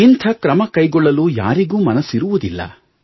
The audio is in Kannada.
ಇಂಥ ಕ್ರಮ ಕೈಗೊಳ್ಳಲು ಯಾರಿಗೂ ಮನಸ್ಸಿರುವುದಿಲ್ಲ